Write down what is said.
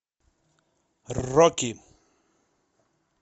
рокки